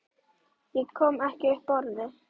Ég kom ekki upp orði.